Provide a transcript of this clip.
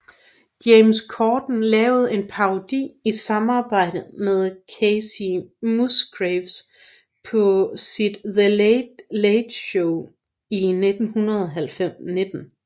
James Corden lavede en parodi i samarbejde med Kacey Musgraves på sit The Late Late Show i 2019